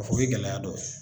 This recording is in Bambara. fɔ o bɛ gɛlɛya dɔ ye.